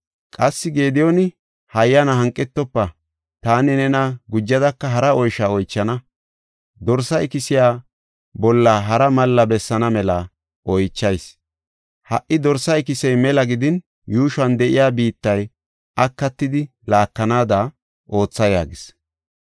Qassi Gediyooni, “Hayyana hanqetofa; taani nena gujadaka hara oysho oychana. Dorsa ikisiya bolla hara malla bessaana mela oychayis. Ha77i dorsa ikisey mela gidin yuushuwan de7iya biittay akatidi laakanada ootha” yaagis.